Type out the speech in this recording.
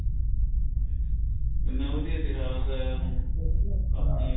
ਇੰਨਾ ਵਧੀਆ ਇਤਿਹਾਸ ਏ ਹੁਣ ਹਾਂ